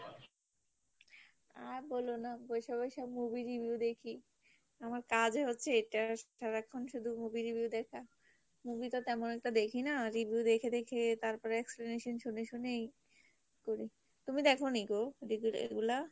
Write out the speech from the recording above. আর বলো না, বসে বসে movie review দেখি আমার কাজই হচ্ছে এটা সারাক্ষন শুধু movie review দেখা, movie তো তেমন একটা দেখি না, review দেখে দেখে তারপরে exclamation শুনে শুনেই করি। তুমি দেখোনি গো review rate গুলা ?